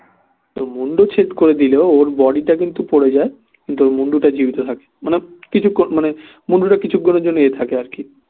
এই মুণ্ডচ্ছেদ করে দিলেও ওর body টা কিন্তু পরে যায় কিন্তু ওর মুণ্ডটা জীবিত থাকে মানে কিছুক্ষন মানে মুণ্ডটা কিছুক্ষনের জন্যে এ থাকে আর কি